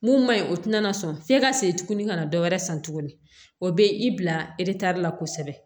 Mun ma ɲi o tɛna na sɔn f'i ka segin tuguni ka na dɔwɛrɛ san tuguni o bɛ i bila la kosɛbɛ